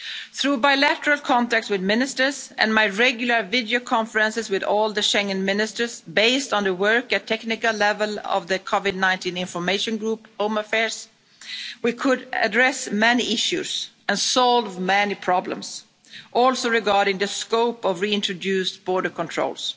points. Through bilateral contacts with Ministers and my regular video conferences with all the Schengen Ministers, based on the work at technical level of the COVID-19 information group we could address many issues and solve many problems, also regarding the scope of reintroduced border